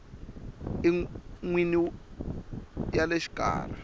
n wini ya le xikarhi